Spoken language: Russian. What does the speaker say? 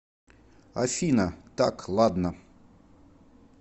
афина так ладно